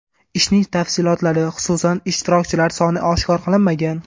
Ishning tafsilotlari, xususan, ishtirokchilar soni oshkor qilinmagan.